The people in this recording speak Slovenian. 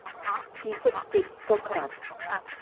Tisoč petstokrat.